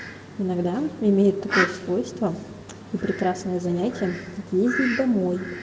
иногда имеют такое свойство и прекрасное занятие как ездить домой